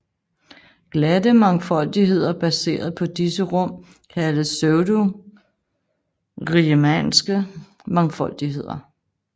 Glatte mangfoldigheder baseret på disse rum kaldes pseudoriemannske mangfoldigheder